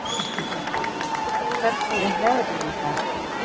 Runi, hvernig er veðrið í dag?